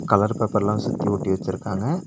Colour பேப்பர்லா சுத்தி ஒட்டி வெச்சுருக்காங்க.